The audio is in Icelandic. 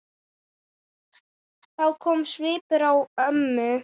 Þá kom svipur á ömmu.